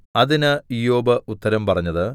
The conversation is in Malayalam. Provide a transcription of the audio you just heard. അതിന് ഇയ്യോബ് ഉത്തരം പറഞ്ഞത്